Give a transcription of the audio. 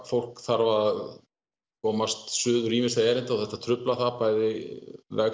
fólk þarf að komast suður til ýmissa erinda og þetta truflar það bæði